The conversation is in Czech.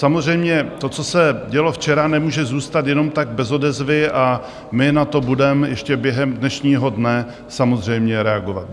Samozřejmě to, co se dělo včera, nemůže zůstat jenom tak bez odezvy a my na to budeme ještě během dnešního dne samozřejmě reagovat.